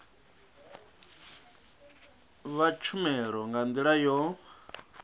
vha tshumelo nga ndila yo